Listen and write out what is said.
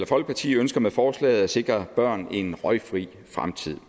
folkeparti ønsker med forslaget at sikre børn en røgfri fremtid